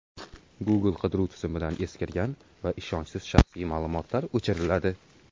Google qidiruv tizimidan eskirgan va ishonchsiz shaxsiy ma’lumotlar o‘chiriladi.